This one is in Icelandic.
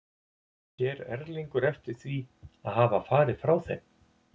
Sér Erlingur eftir því að hafa farið frá þeim?